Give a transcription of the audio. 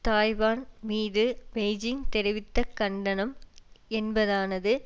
Taiwan மீது Beijing தெரிவித்த கண்டனம் என்பதானது